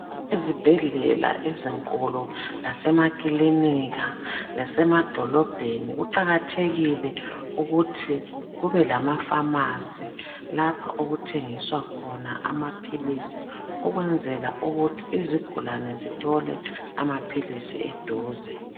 Ezibhedlela ezinkulu lasemakilinika lasemadolobheni kuqakathekile ukuthi kubelamafamasi lapha okuthengiswa khona amaphilisi ukwenzela ukuthi izigulane zithole amaphilisi eduze.